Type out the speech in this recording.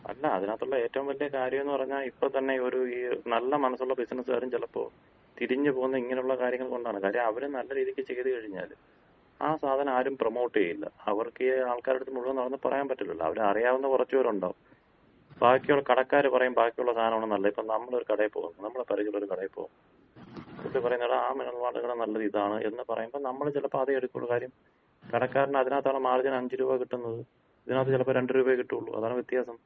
അല്ല, അതിനകത്തൊള്ള ഏറ്റവും വല്യ കാര്യംന്ന് പറഞ്ഞാ ഇപ്പൊ തന്നെ ഒര് നല്ല മനസ്സുള്ള ബിസിനസ്കാരും ചെലപ്പോ തിരിഞ്ഞ് പോകുന്നത് ഇങ്ങനൊള്ള കാര്യങ്ങള് കൊണ്ടാണ്. കാര്യം അവര് നല്ല രീതിക്ക് ചെയ്ത് കഴിഞ്ഞാല് ആ സാധനം ആരും പ്രമോട്ട് ചെയ്യില്ല. അവർക്കീ ആൾക്കാരട്ത്ത് മുഴുവൻ നടന്ന് പറയാമ്പറ്റില്ലല്ലോ. അവരെ അറിയാവുന്ന കൊറച്ച് പേരൊണ്ടാവും. ബാക്കിയൊള്ള കടക്കാര് പറയും ബാക്കിയൊള്ള സാധനാണ് നല്ലത്. ഇപ്പൊ നമ്മള് ഒര് കടയി പോവും. നമ്മള പരിചയൊള്ള ഒരു കടയി പോവുമ്പം പുള്ളി പറയുന്ന് "എഡാ ആ മിനറൽ വാട്ടറിനെക്കാള് നല്ലത് ഇതാണ്" എന്ന് പറയുമ്പോ നമ്മള് ചെലപ്പോ അതേ എടുക്കുള്ളു. കാര്യം കടക്കാരന് അതിനകത്താണ് മാർജിൻ അഞ്ച് രൂപ കിട്ടുന്നത്. ഇതിനകത്ത് ചെലപ്പോ രണ്ട് രൂപയെ കിട്ടുള്ളൂ. അതാണ് വ്യത്യാസം.